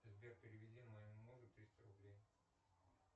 сбер переведи моему мужу триста рублей